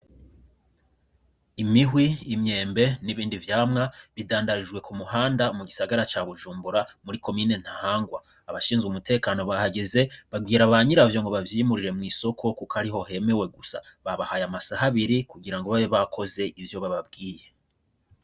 Imihwi imyembe n'ibindi vyamwa bidandarijwe ku muhanda mu gisagara ca bujumbora muri komine ntahangwa abashinzwe umutekano bahageze bagwira abanyiravyo ngo bavyimurire mw'isoko, kuko ari ho hemewe gusa babahaye amasaha abiri kugira ngo babe bakoze ivyo bababwiye.